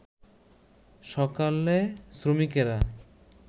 সকালে শ্রমিকেরা